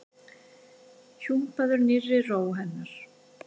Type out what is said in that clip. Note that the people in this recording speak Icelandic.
Hjúpaður nýrri ró hennar.